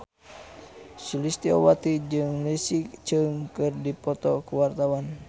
Sulistyowati jeung Leslie Cheung keur dipoto ku wartawan